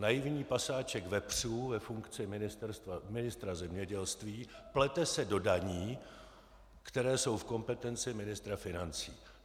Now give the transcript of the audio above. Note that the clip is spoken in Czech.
Naivní pasáček vepřů ve funkci ministra zemědělství plete se do daní, které jsou v kompetenci ministra financí.